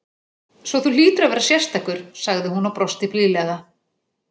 . svo þú hlýtur að vera sérstakur, sagði hún og brosti blíðlega.